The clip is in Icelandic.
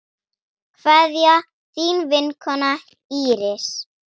Kveðja, þín vinkona Íris.